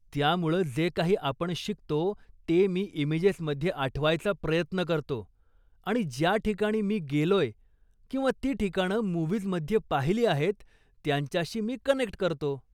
त्यामुळं जे काही आपण शिकतो, ते मी इमेजेसमध्ये आठवायचा प्रयत्न करतो आणि ज्या ठिकाणी मी गेलोय किंवा ती ठिकाणं मुव्हीजमध्ये पाहिली आहेत त्यांच्याशी मी कनेक्ट करतो.